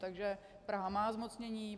Takže Praha má zmocnění.